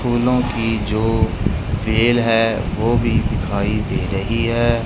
फूलों की जो खेल है वो भी दिखाई दे रही है।